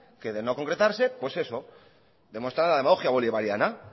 que de no concretarse pues eso demostrará la demagogia bolivariana